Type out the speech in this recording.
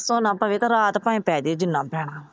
ਪਰਸੋ ਨਾ ਪਵੇ ਰਾਤ ਭਾਵੇ ਪੈ ਜੇ ਜਿੰਨਾ ਪੈਣਾ।